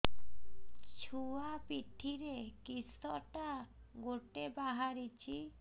ଛୁଆ ପିଠିରେ କିଶଟା ଗୋଟେ ବାହାରିଛି